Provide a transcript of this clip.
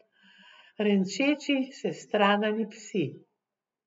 Renčeči sestradani psi.